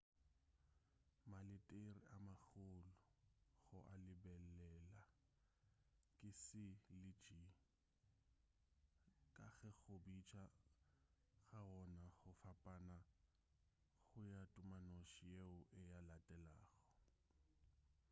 maletere a magolo go a lebelela ke c le g ka ge go a bitša ga wona go fapana go ya tumanoši yeo e a latelago